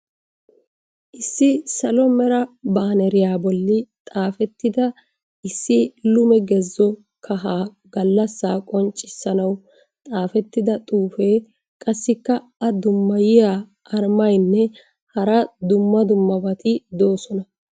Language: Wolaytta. Issi salo meraa baaneriya boli xaafettida issi lume gezo kahaa galassa qonccissanawu xaafettida xuufee, qassikka a dummayiyaa armaynne hara dumma dummabati doosona.